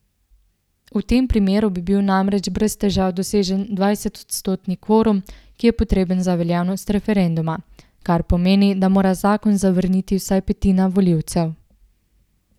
V tem primeru bi bil namreč brez težav dosežen dvajsetodstotni kvorum, ki je potreben za veljavnost referenduma, kar pomeni, da mora zakon zavrniti vsaj petina volivcev.